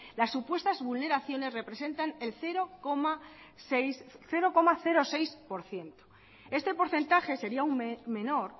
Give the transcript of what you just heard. las supuestas vulneraciones representan el cero coma seis por ciento este porcentaje sería aún menor